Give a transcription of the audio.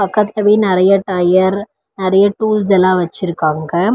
பக்கத்துலவே நெறைய டயர் நெறைய டூல்ஸ் எல்லா வச்சுருக்காங்க.